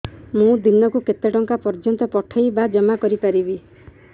ମୁ ଦିନକୁ କେତେ ଟଙ୍କା ପର୍ଯ୍ୟନ୍ତ ପଠେଇ ବା ଜମା କରି ପାରିବି